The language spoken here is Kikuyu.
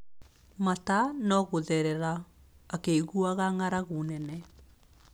Mata no gũtherera, akĩiguaga ng’aragu nene.